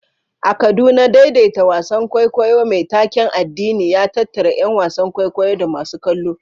A Kaduna, daidaita wasan kwaikwayo mai taken addini ya tattara ƴan wasan kwaikwayo da masu kallo.